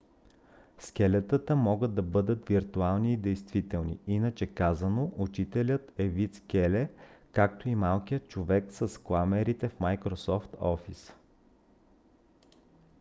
скелетата могат да бъдат виртуални и действителни иначе казано учителят е вид скеле както и малкият човек с кламерите в microsoft office